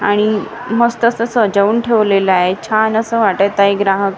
आणि मस्त असं सजवून ठेवलेलं आहे छान असं वाटत आहे ग्राहक--